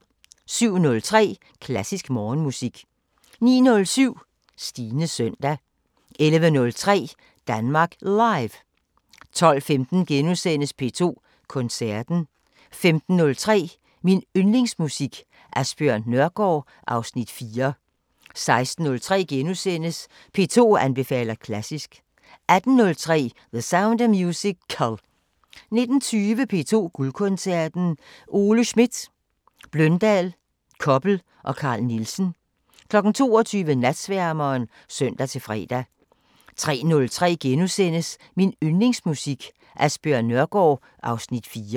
07:03: Klassisk Morgenmusik 09:07: Stines søndag 11:03: Danmark Live 12:15: P2 Koncerten * 15:03: Min Yndlingsmusik: Asbjørn Nørgaard (Afs. 4) 16:03: P2 anbefaler klassisk * 18:03: The Sound of Musical 19:20: P2 Guldkoncerten: Ole Schmidt, Bløndal, Koppel og Carl Nielsen 22:00: Natsværmeren (søn-fre) 03:03: Min Yndlingsmusik: Asbjørn Nørgaard (Afs. 4)*